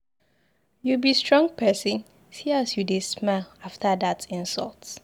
You be strong person, see as you dey smile after dat insult.